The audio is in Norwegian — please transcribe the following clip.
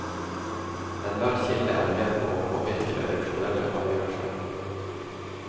Enhver kilde er med på å påvirke redaksjonelle avgjørelser.